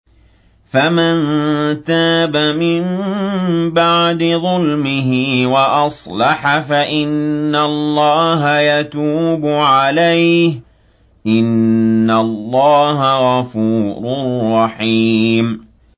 فَمَن تَابَ مِن بَعْدِ ظُلْمِهِ وَأَصْلَحَ فَإِنَّ اللَّهَ يَتُوبُ عَلَيْهِ ۗ إِنَّ اللَّهَ غَفُورٌ رَّحِيمٌ